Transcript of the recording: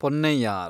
Ponnaiyar